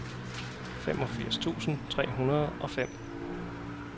femogfirs tusind tre hundrede og fem